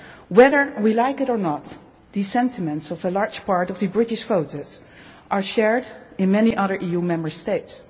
Whether we like it or not, the sentiments of a large part of the British voters are shared in many other EU Member States.